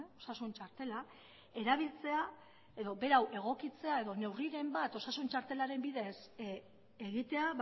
osasun txartela erabiltzea edo berau egokitzea edo neurriren bat osasun txartelaren bidez egitea